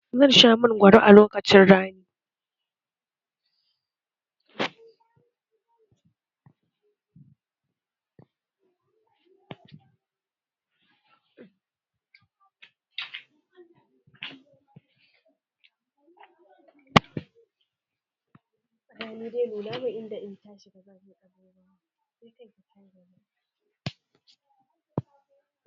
Zan sha mangwaro a lokacin rani